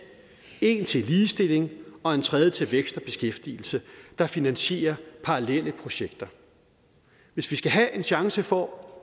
en til ligestilling og en tredje til vækst og beskæftigelse der finansierer parallelle projekter hvis vi skal have en chance for